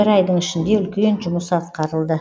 бір айдың ішінде үлкен жұмыс атқарылды